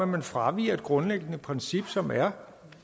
man fraviger et grundlæggende princip som er